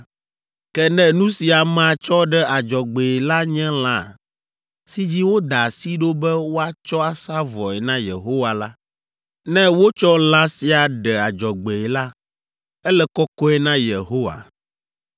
“ ‘Ke ne nu si amea tsɔ ɖe adzɔgbee la nye lã si dzi woda asi ɖo be woatsɔ asa vɔe na Yehowa la, ne wotsɔ lã sia ɖe adzɔgbee la, ele kɔkɔe na Yehowa.